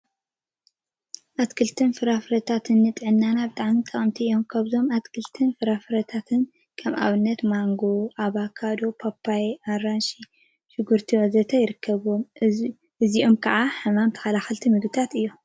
አትክልትን ፍራፍረታትን ንጥዕናና ብጣዕሚ ጠቀምቲ እዮም፡፡ ካብዞም አትክልትን ፍራፍረታትን ከም አብነት ማንጎ፣ አቨካዶ፣ ፓፓዮ፣ አራንሺን ሽጉርቲን ወዘተ ይርከቡዎም፡፡ እዚኦም ከዓ ሕማም ተከላከልቲ ምግቢታት እዮም፡፡